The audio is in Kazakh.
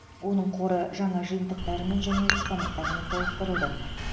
оның қоры жаңа жиынтықтармен және экспонаттармен толықтырылды